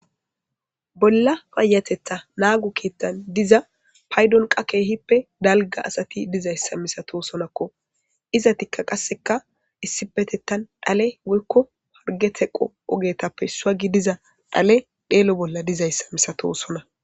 bolla payatetha naagu keettan diza paydon qa keehippe dalga asati dizayssa misato sonakko iza tikka qasseka issipetettan dhale woykko harge teqo ogetappe issuagi diza dhale dheelo bolla dizayssa misato sona